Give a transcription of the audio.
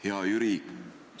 Hea Jüri!